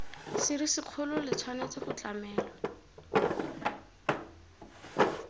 serisikgolo le tshwanetse go tlamelwa